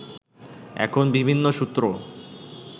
এখন বিভিন্ন সূত্র